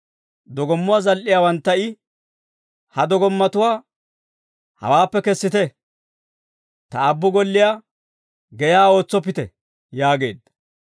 Dogommuwaa zal"iyaawantta I, «Ha dogommatuwaa hawaappe kessite; Ta Aabbu golliyaa geyaa ootsoppite!» yaageedda.